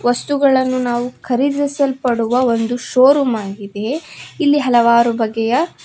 ವಸ್ತುಗಳನ್ನು ನಾವು ಖರೀದಿಸಲ್ಪಡುವ ಒಂದು ಶೋ ರೂಮ್ ಆಗಿದೆ ಇಲ್ಲಿ ಹಲವಾರು ಬಗೆಯ--